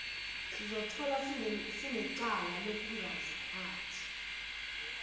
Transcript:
sizotholwa sinecala lokungaziphathi